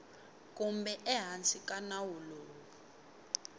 kumbe ehansi ka nawu lowu